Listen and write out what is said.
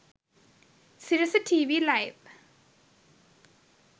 sirasa tv live